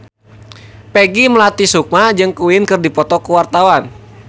Peggy Melati Sukma jeung Queen keur dipoto ku wartawan